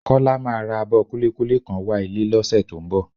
Kọ́lá máa ra abọ kúlíkúlí kan wá ilé lọ́sẹ̀ tó ń bọ̀